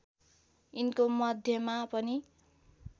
यिनको मध्यमा पनि